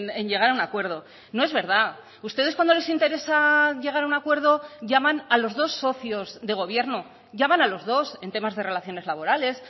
en llegar a un acuerdo no es verdad ustedes cuando les interesa llegar a un acuerdo llaman a los dos socios de gobierno llaman a los dos en temas de relaciones laborales